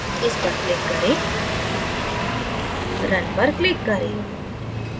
इस पर click करें run पर click करें